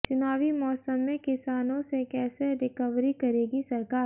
चुनावी मौसम में किसानों से कैसे रिकवरी करेगी सरकार